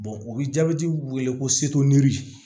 o bɛ jabɛti weele ko